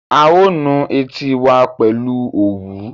A ó nu etí wa pẹ̀lú òwú